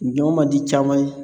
Ɲɔ man di caman ye